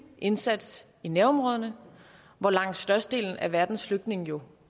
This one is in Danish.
indsats i nærområderne hvor langt størstedelen af verdens flygtninge jo